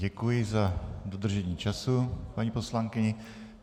Děkuji za dodržení času, paní poslankyně.